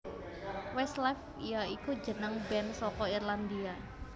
Westlife ya iku jeneng band saka Irlandia